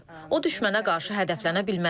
O düşmənə qarşı hədəflənə bilməz.